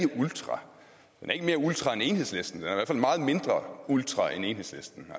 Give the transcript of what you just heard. ultra den er ikke mere ultra end enhedslisten i hvert fald meget mindre ultra end enhedslisten